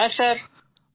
হ্যাঁ স্যার